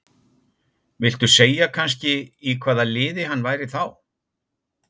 Viltu segja kannski í hvaða liði hann væri þá?